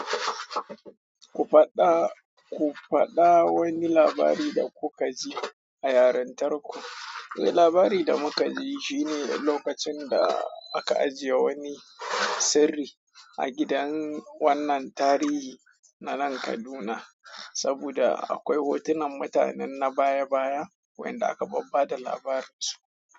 Ku faɗa, ku faɗa wani labari da kuka ji a yarintarku. Eh labari da muka ji shi ne lokacin da aka ajiye wani sirri a gidan wannan tarihi na nan Kaduna. Saboda akwai hotunan mutanen na baya baya wainda aka babbata labarin su.